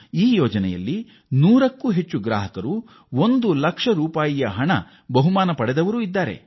ಈ ಯೋಜನೆಯಡಿ 100ಕ್ಕೂ ಹೆಚ್ಚು ಗ್ರಾಹಕರು ತಲಾ ಒಂದು ಲಕ್ಷ ರೂಪಾಯಿ ಬಹುಮಾನ ಪಡೆದಿದ್ದಾರೆ